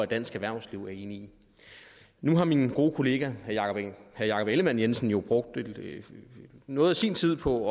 dansk erhvervsliv er enigt i nu har min gode kollega herre jakob ellemann jensen jo brugt noget af sin tid på